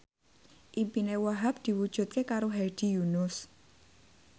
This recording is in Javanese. impine Wahhab diwujudke karo Hedi Yunus